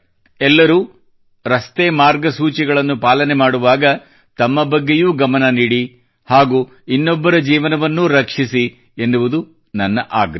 ಎಲ್ಲರೂ ರಸ್ತೆ ಮಾರ್ಗಸೂಚಿಗಳನ್ನು ಪಾಲನೆ ಮಾಡುವಾಗ ತಮ್ಮ ಬಗ್ಗೆಯೂ ಗಮನ ನೀಡಿ ಹಾಗೂ ಇನ್ನೊಬ್ಬರ ಜೀವನವನ್ನೂ ರಕ್ಷಿಸಿ ಎನ್ನುವುದು ನನ್ನ ಆಗ್ರಹ